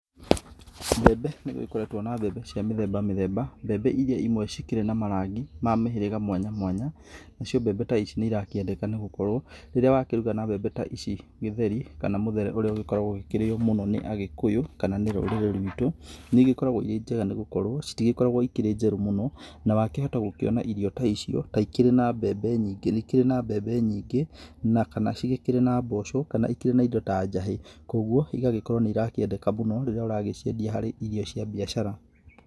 Mbembe, nĩgũkoretwo mbembe cia mĩthemba , mbembe irĩa imwe cikĩrĩ na marangi ma mĩhĩrĩga mwanya mwanya, nacio mbembe ta ici nĩ irakĩendeka nĩgũkorwo, rĩrĩa wakĩruga na mbembe ta ici gĩtheri kana mũthere ũrĩa ũkoragwo ũgĩkĩrĩo mũno nĩ agĩkũyũ kana rũrĩrĩ rwitũ nĩgĩkũragwo injega nĩgũkorwo citgĩkoragwo ci njerũ mũno na wakĩhota kwona irio ta icio ta ikĩrĩ na mbembe nyingĩ na cigĩkorwo na mboco, na ikĩrĩ na indo ta njahĩ kwoguo igagĩkorwo nĩirakĩendeka mũno rĩrĩa ũragĩciendia harĩ irio cia biacara.